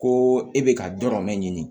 Ko e bɛ ka dɔ mɛn ɲini